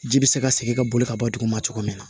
Ji bɛ se ka segin ka boli ka bɔ duguma cogo min na